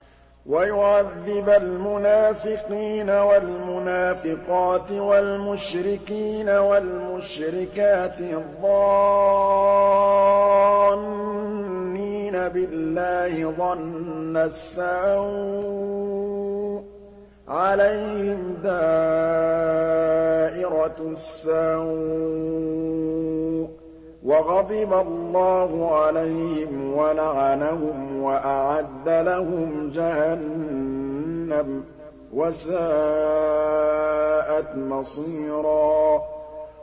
وَيُعَذِّبَ الْمُنَافِقِينَ وَالْمُنَافِقَاتِ وَالْمُشْرِكِينَ وَالْمُشْرِكَاتِ الظَّانِّينَ بِاللَّهِ ظَنَّ السَّوْءِ ۚ عَلَيْهِمْ دَائِرَةُ السَّوْءِ ۖ وَغَضِبَ اللَّهُ عَلَيْهِمْ وَلَعَنَهُمْ وَأَعَدَّ لَهُمْ جَهَنَّمَ ۖ وَسَاءَتْ مَصِيرًا